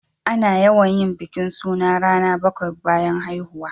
Ana yawan yin bikin suna rana bakwai bayan haihuwa.